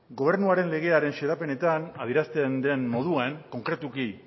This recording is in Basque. gobernuaren legearen xedapenetan adierazten den moduan konkretuki